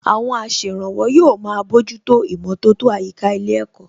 Àwọn aṣèrànwọ́ yóò máa bójútó ìmọ̀tótó àyíká ilé ẹ̀kọ́